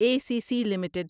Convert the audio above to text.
a C C limited